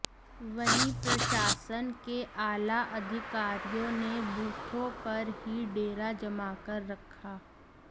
वहीं प्रशासन के आला अधिकारियों ने बूथों पर ही डेरा जमाकर रखा